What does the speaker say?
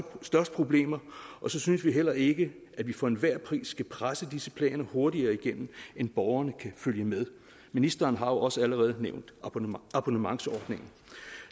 problemer og så synes vi heller ikke at vi for enhver pris skal presse disse planer hurtigere igennem end borgerne kan følge med ministeren har jo også allerede nævnt abonnementsordningen